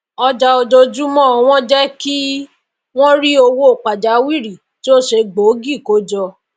àjọ ọjọjúmó wọn jé kí wón ri owó pàjáwìrì tí o se gbòógì kójọ